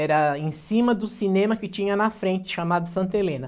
Era em cima do cinema que tinha na frente, chamado Santa Helena.